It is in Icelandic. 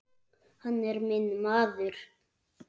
Hann er minn maður.